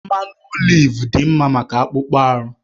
Mmanụ oliv dị mma maka akpụkpọ ahụ